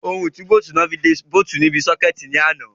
Ohun ìtúbóòtì ni wọ́n fi de bóòtì níbi sọ́kẹ̀tì ní àná.